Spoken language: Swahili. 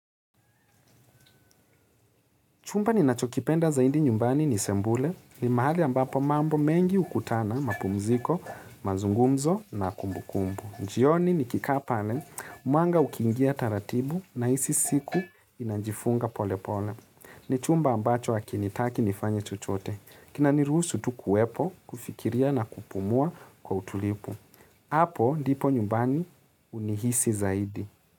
Chumba ninachokipenda zaidi nyumbani ni Sebule. Ni mahali ambapo mambo mengi hukutana, mapumziko, mazungumzo na kumbukumbu. Jioni nikikaa pale, mwanga ukiingia taratibu nahisi siku inajifunga pole pole. Ni chumba ambacho hakinitaki nifanye chochote. Kina niruhusu tu kuwepo, kufikiria na kupumua kwa utulivu. Hapo ndipo nyumbani unihisi zaidi.